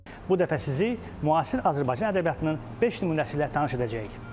Bu dəfə sizi müasir Azərbaycan ədəbiyyatının beş nümunəsi ilə tanış edəcəyik.